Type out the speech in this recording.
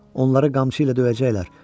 Onları qamçı ilə döyəcəklər.